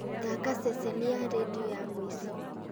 thaaka ceceni ya rĩndiũ ya mũico